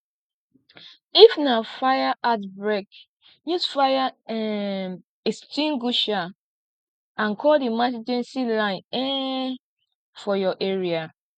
if na fire outbreak use fire um extinguisher and call emergency line um for your area